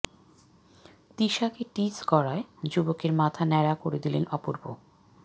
তিশাকে tease করায় যুবকের মাথা ন্যাড়া করে দিলেন অপূর্ব